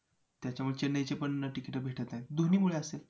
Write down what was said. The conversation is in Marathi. त्याच्यामुळे चेन्नईची पण तिकिटं भेटत नाहीत. दोन्हीमुळे असतील.